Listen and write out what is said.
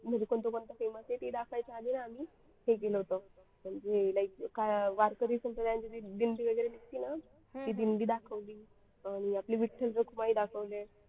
म्हणजे कोणते कोणते famous आहे ते दाखवायचे आहे आम्ही हे केलं होतं म्हणजे काय वारकरी संप्रदायाची जयंती वगैरे निघते ना ते दिंडी दाखवली हम्म आपले विठ्ठल रखुमाई दाखवले.